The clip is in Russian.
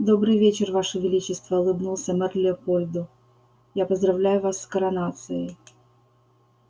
добрый вечер ваше величество улыбнулся мэр леопольду я поздравляю вас с коронацией